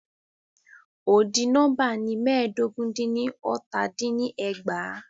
Odi nóḿbà ni mẹ́ẹ̀dógún dín ní ọ́tà dín ní ẹgbàá.